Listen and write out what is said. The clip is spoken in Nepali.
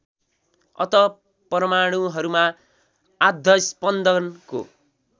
अत परमाणुहरूमा आद्यस्पन्दनको